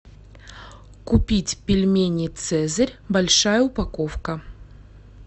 купить пельмени цезарь большая упаковка